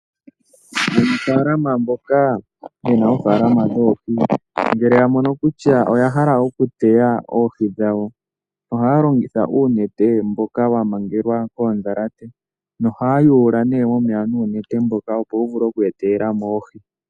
Aanafaalama mboka yena oohi ngele yamono kutya oya hala okuteya oohi dhawo, ohaya longitha uunete mboka wamangelwa kondhalate, nohaya yuula nuunete mboka opo wuvule okweetelamo oohi.